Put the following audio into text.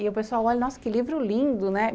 E o pessoal olha, nossa, que livro lindo, né?